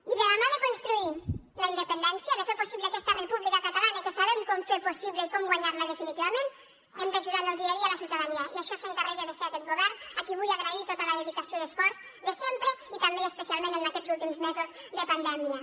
i de la mà de construir la independència de fer possible aquesta república catalana que sabem com fer possible i com guanyar la definitivament hem d’ajudar en el dia a dia a la ciutadania i això s’encarrega de fer aquest govern a qui vull agrair tota la dedicació i esforç de sempre i també i especialment en aquests últims mesos de pandèmia